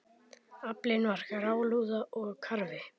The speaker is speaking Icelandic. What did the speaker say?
Aflinn var grálúða og karfi.